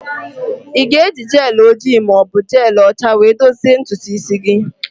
Ị ga-eji gel ojii ma ọ bụ jelụ ọcha were dozie ntutu isi gị?